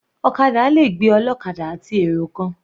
Ọ̀kadà le gbé ọlọ́kadà àti èrò kan.